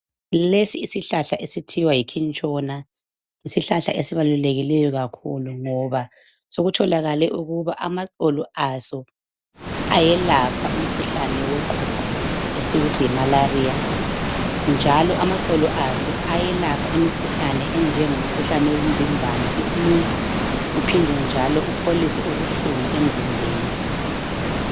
Lesi isihlahla esithiwa yikhintshona yisihlahla esibalulekileyo kakhulu ngoba sokutholakale ukuba amaxolo aso ayelapha umkhuhlane woqhuqho esiwuthi yimalariya, njalo amaxolo aso ayelapha imikhuhlane enjengomkhuhlane womvimbano iflu, uphinde njalo upholise ubuhlungu emzimbeni.